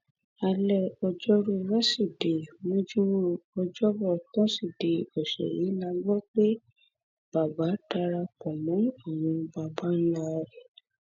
alẹ ọjọrùú wẹsídẹẹ mójúmọ ọjọbọ tọsídẹẹ ọsẹ yìí la gbọ pé bàbá dara pọ mọ àwọn babańlá rẹ